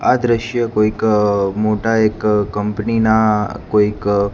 આ દ્રશ્ય કોઈક મોટા એક કંપની ના કોઇક--